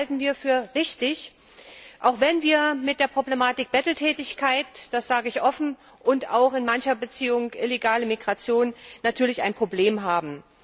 Das halten wir für richtig, auch wenn wir mit der Problematik Betteltätigkeit das sage ich offen und auch in mancher Beziehung mit illegaler Migration natürlich ein Problem haben.